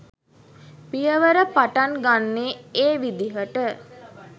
පියවර පටන් ගන්නේ ඒ විදිහට